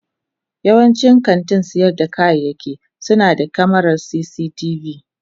Yawancin kantin sayar da kayayyaki suna da kyamarar cctv.